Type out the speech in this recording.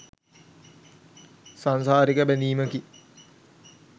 සාංසාරික බැඳීමකි.